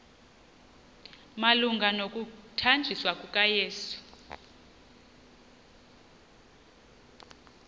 malunga nokuthanjiswa kukayesu